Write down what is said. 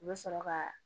U bɛ sɔrɔ ka